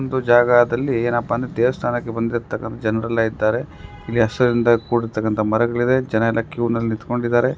ಒಂದು ಜಾಗದಲ್ಲಿ ಏನಪ್ಪಾ ಅಂದ್ರೆ ದೇವಸ್ಥಾನಕ್ಕೆ ಬಂದಿರ್ತಕ್ಕಂತಹ ಜನರೆಲ್ಲ ಇದ್ದಾರೆ ಇಲ್ಲಿ ಹಸಿರಿನಿಂದ ಕೂಡಿರ್ತಕ್ಕಂತಹ ಮರಗಳಿದೆ ಜನ ಎಲ್ಲಾ ಕ್ಯೂ ನಲ್ಲಿ ನಿತ್ಕೊಂಡಿದ್ದಾರೆ.